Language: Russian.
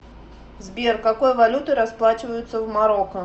сбер какой валютой расплачиваются в марокко